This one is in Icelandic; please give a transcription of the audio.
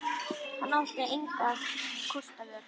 Hann átti engra kosta völ.